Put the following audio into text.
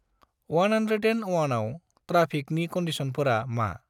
One hundred and अवानआव ट्राफिकनि कनडिसनफोरा मा?